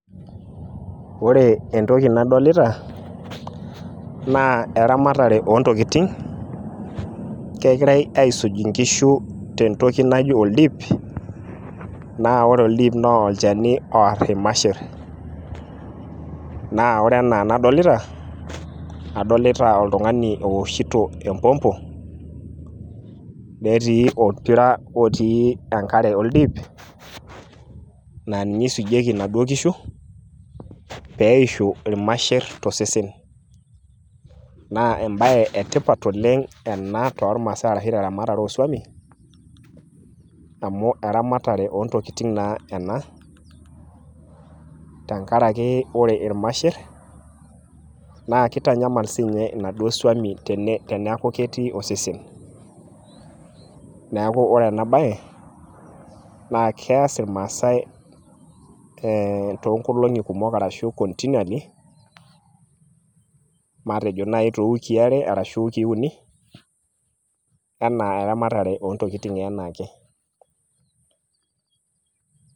ore entoki nadolita naa eramatare oo ntokitin, kegirae aisuj inkishu tentoki naji oldip. naa ore oldip naa olchani loor irmasher. naa ore entoki nadolita adolita oltungani ooshito empopmpo. netii olpira otii enkare ol dip, naa ninye eisujieki inaduoo kishu pee eishu ilmasher tosesen. naa ebae etipat ena oleng tormaasae arsahu teramatare oosuami .amu eramatare oontokitin naaena. tenkaraki ore irmasher kitanyamala si ninye inaduoo suami teneeku ketii osesen. neeku ore ena bae kees irmaasae ,continuallyvmatejo naaji tewiki ashu too wikii uni, anaa eramatare oontokitin anaake.